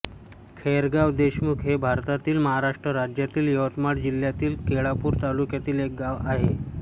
खैरगाव देशमुख हे भारतातील महाराष्ट्र राज्यातील यवतमाळ जिल्ह्यातील केळापूर तालुक्यातील एक गाव आहे